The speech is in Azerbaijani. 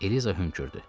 Eliza hönkürdü.